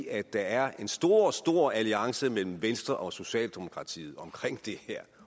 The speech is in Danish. at der er en stor stor alliance mellem venstre og socialdemokratiet om det her